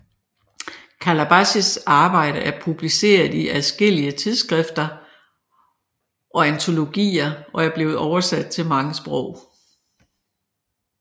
Kalbasis arbejde er publiceret i adskillige tidsskrifter og antologier og er blevet oversat til mange sprog